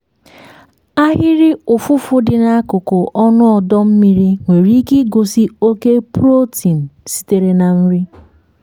ahịrị ụfụfụ dị n'akụkụ ọnụ ọdọ mmiri nwere ike igosi oke protein sitere na nri.